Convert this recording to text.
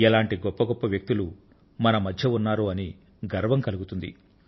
ఎటువంటి గొప్ప గొప్ప వ్యక్తులు మన మధ్య ఉన్నారో అని గర్వం కలుగుతుంది